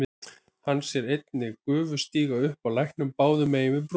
Hann sér einnig gufu stíga upp af læknum báðum megin við brúna.